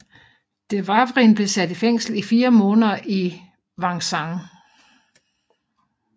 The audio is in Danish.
Dewavrin blev sat i fængsel i fire måneder i Vincennes